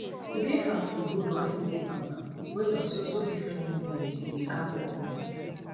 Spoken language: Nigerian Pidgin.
e dey hard to hold one sleeping pattern when na so so different movement u dey kam everyday